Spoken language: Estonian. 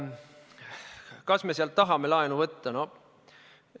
Kas me sealt tahame laenu võtta?